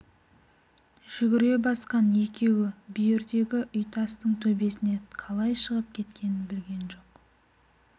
жүгіре басқан екеуі бүйірдегі үйтастың төбесіне қалай шығып кеткенін білген жоқ